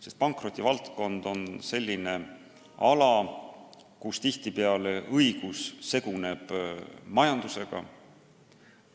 Sest pankrotivaldkond on selline ala, kus tihtipeale õigus seguneb majandusega.